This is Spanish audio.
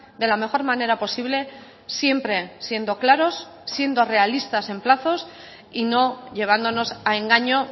de la mejor manera posible siempre siendo claros siendo realistas en plazos y no llevándonos a engaño